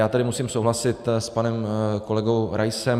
Já tady musím souhlasit s panem kolegou Raisem.